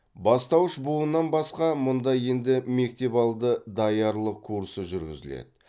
бастауыш буыннан басқа мұнда енді мектепалды даярлық курсы жүргізіледі